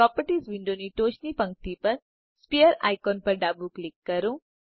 properties વિન્ડોની ટોચની પંક્તિ પર સ્ફિયર આઇકોન પર ડાબું ક્લિક કરો